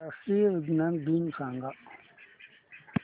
राष्ट्रीय विज्ञान दिन सांगा